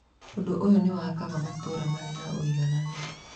Ũndũ ũyũ nĩ wakaga matũũra marĩ na ũigananu.